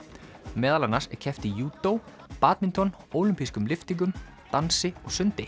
meðal annars er keppt í í júdó badminton ólympískum lyftingum dansi og sundi